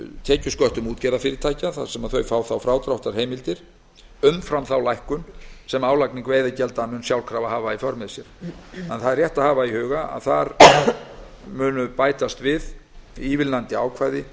tekjusköttum útgerðarfyrirtækja þar sem þau fá þá frádráttarheimildir umfram þá lækkun sem álagning veiðigjalda mun sjálfkrafa hafa í för með sér rétt er að hafa í huga að þar munu ívilnandi ákvæði